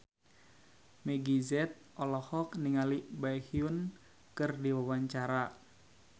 Meggie Z olohok ningali Baekhyun keur diwawancara